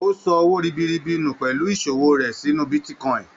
O sọ owó ribiribi nu pẹlú ìṣòwò rẹ sínú bitíkọ̀in.